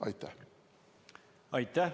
Aitäh!